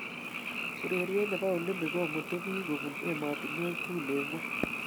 Urerie ne bo olimpik komutuu biik kobunu emotinweek tugul eng ngony.